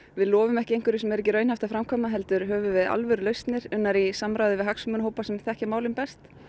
við lofum ekki einhverju sem er ekki raunhæft að framkvæma heldur höfum við alvöru lausnir unnar í samráði við hagsmunahópa sem þekkja málin best